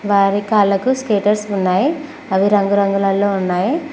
వారి కాళ్ళకు స్కేటర్స్ ఉన్నాయి అవి రంగు రంగులల్లో ఉన్నాయి.